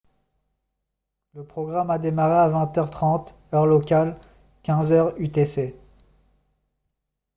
le programme a démarré à 20 h 30 heure locale 15 h 00 utc